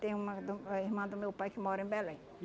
Tem uma do ah irmã do meu pai que mora em Belém.